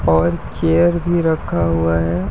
और चेयर भी रखा हुआ है।